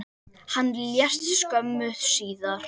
Hann lést skömmu síðar.